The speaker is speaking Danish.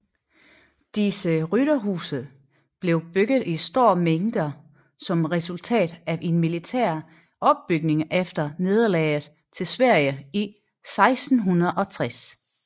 Disse rytterhuse blev bygget i store mængder som resultat af en militær opbygning efter nederlaget til Sverige i 1660